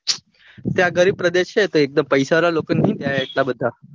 ત્યાં ગરીબ પ્રદેશ છે તો એકદમ પૈસા વાળા લોકો તો હું જાય ત્યા એટલા બધા